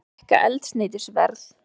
Fleiri hækka eldsneytisverð